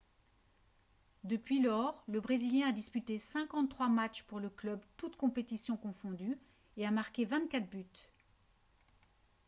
depuis lors le brésilien a disputé 53 matches pour le club toutes compétitions confondues et a marqué 24 buts